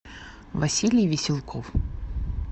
василий веселков